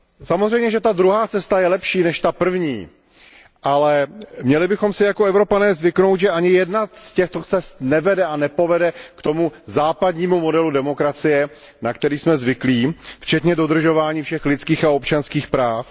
Samozřejmě, že ta druhá cesta je lepší než ta první, ale měli bychom si jako Evropané zvyknout, že ani jedna z těchto cest nevede a nepovede k tomu západnímu modelu demokracie, na který jsme zvyklí, včetně dodržování všech lidských a občanských práv.